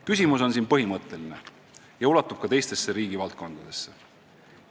Küsimus on põhimõtteline ja ulatub ka teistesse riigi valdkondadesse.